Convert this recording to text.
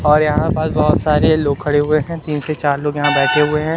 और यहां पर बहुत सारे लोग खड़े हुए है तीन से चार लोग यहां बैठे हुए है।